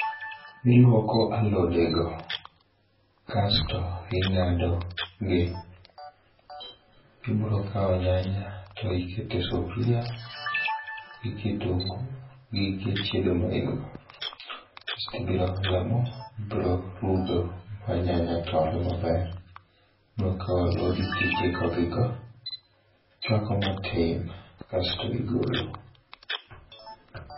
Iluoko alodego kasto ing'ado gi. Ibiro kao nyanya to ikete e sufuria gi kitungu gige chiedo main go, kasto ibiro ole mo ibiro rudo manyanya tore maber. Ibiro kao alodi tikiko gigo ichuako matin kasto igolo.